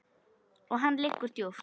Og hann liggur djúpt